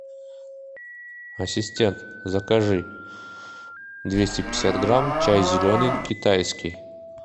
ассистент закажи двести пятьдесят грамм чай зеленый китайский